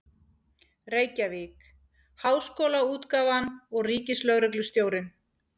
Reykjavík: Háskólaútgáfan og Ríkislögreglustjórinn.